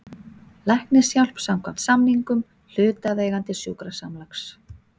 Læknishjálp samkvæmt samningum hlutaðeigandi sjúkrasamlags.